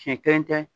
Siɲɛ kelen tɛ